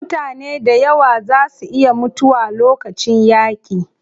Mutane dayawa zaa su iya mutuwa lokacin yaaƙi.